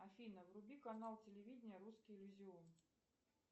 афина вруби канал телевидения русский иллюзион